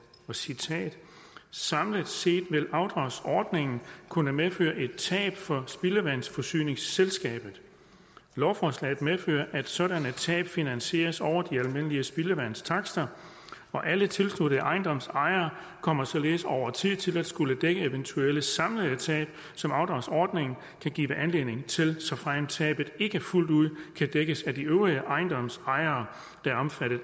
citat samlet set vil afdragsordningen kunne medføre et tab for spildevandsforsyningsselskabet lovforslaget medfører at sådanne tab finansieres over de almindelige spildevandstakster alle tilsluttede ejendomsejere kommer således over tid til at skulle dække eventuelle samlede tab som afdragsordningen kan give anledning til såfremt tabet ikke fuldt ud kan dækkes af de øvrige ejendomsejere der er omfattet